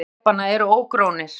Pallar þrepanna eru ógrónir.